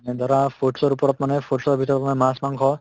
এ ধৰা foods ৰ ওপৰত foods ৰ ভিতৰত মানে মাছ মাংস